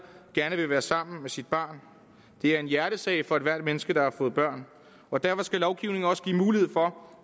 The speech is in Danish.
gerne vil være sammen med sit barn det er en hjertesag for ethvert menneske der har fået børn og derfor skal lovgivningen også give mulighed for